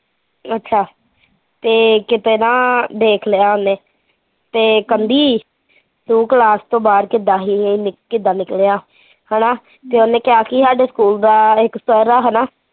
ਅੱਛਾ ਤੇ ਕਿਤੇ ਨਾ ਦੇਖ ਲਿਆ ਓਹਨੇ ਤੇ ਕਹਿੰਦੀ, ਤੂੰ ਕਲਾਸ ਤੋਂ ਬਾਹਰ ਕਿੱਦਾਂ ਸੀ, ਕਿੱਦਾਂ ਨਿਕਲਿਆ ਹੈਨਾ ਤੇ ਓਹਨੇ ਕਿਹਾ ਕੀ ਸਾਡੇ ਸਕੂਲ ਦਾ ਇੱਕ ਸਰ ਆ ਹੈਨਾ